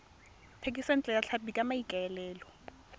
thekisontle ya tlhapi ka maikaelelo